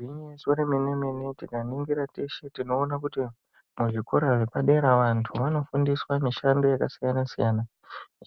Igwinyiso remene-mene, tikaningira teshe tinoona kuti muzvikora zvepadera vantu vanofundiswa mishando yakasiyana-siyana.